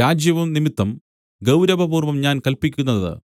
രാജ്യവും നിമിത്തം ഗൗരവപൂർവം ഞാൻ കല്പിക്കുന്നത്